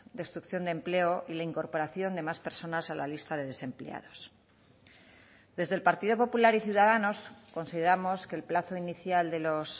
destrucción de empleo y la incorporación de más personas a la lista de desempleados desde el partido popular y ciudadanos consideramos que el plazo inicial de los